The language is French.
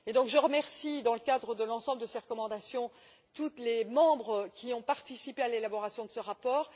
Je remercie, dans le cadre de l'ensemble de ces recommandations, tous les membres qui ont participé à l'élaboration de ce rapport.